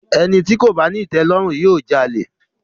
Ẹni tí kò bá ní ìtẹ̀lọ́rùn, yóò jalè.